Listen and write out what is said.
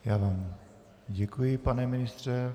Já vám děkuji, pane ministře.